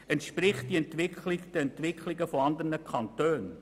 Entspricht sie der Entwicklung in anderen Kantonen?